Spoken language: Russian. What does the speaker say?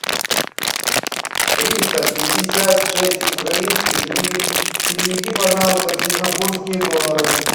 триста пятьдесят шесть украинских гривен переведи пожалуйста в сингапурские доллары